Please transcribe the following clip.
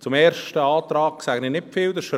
Zum ersten Antrag sage ich nicht viel.